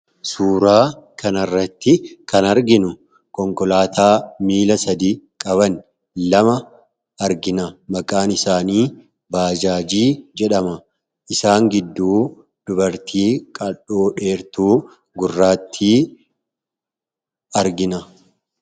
Suuraa kana irratti kan arginu konkolaataa miila sadii qaban lama argina. Maqaan isaaniis "Bajaajii" jedhamuun beekama. Isaan gidduus dubartii qal'oo gurraattii dheertuu argina.